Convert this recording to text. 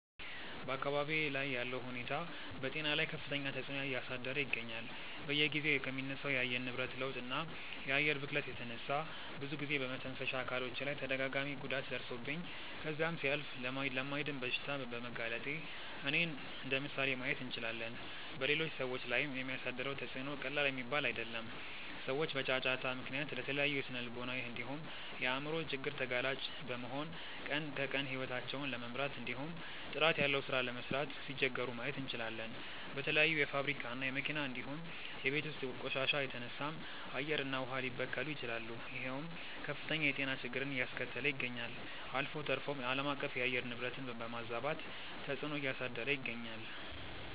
በአካባብዬ ላይ ያለው ሁኔታ በጤና ላይ ከፍተኛ ተፅዕኖ እያሳደረ ይገኛል። በየጊዜው ከሚነሳው የአየር ንብረት ለውጥ እና የአየር ብክለት የተነሳ ብዙ ጊዜ በመተንፈሻ አካሎቼ ላይ ተደጋጋሚ ጉዳት ደርሶብኝ ከዛም ሲያልፍ ለማይድን በሽታ በመጋለጤ እኔን እንደምሳሌ ማየት እንችላለን። በሌሎች ሰዎች ላይም የሚያሳድረው ተፅዕኖ ቀላል የሚባል አይደለም። ሰዎች በጫጫታ ምክንያት ለተለያዩ ስነልቦናዊ እንዲሁም የአይምሮ ችግር ተጋላጭ በመሆን ቀን ከቀን ሂወታቸውን ለመምራት እንዲሁም ጥራት ያለው ሥራ ለመስራት ሲቸገሩ ማየት እንችላለን። በተለያዩ የፋብሪካ እና የመኪና እንዲሁም የቤት ውስጥ ቆሻሻ የተነሳም አየር እና ውሃ ሊበከሉ ይችላሉ ይሄውም ከፍተኛ የጤና ችግርን አያስከተለ ይገኛል። አልፎ ተርፎም አለማቀፍ የአየር ንብረትን በማዛባት ተፅዕኖ እያሳደረ ይገኛል።